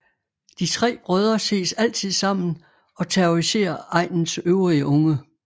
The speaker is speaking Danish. De tre brødre ses altid sammen og terroriserer egnens øvrige unge